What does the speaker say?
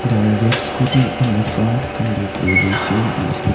The red scooty on the front can be clearly seen in this pic --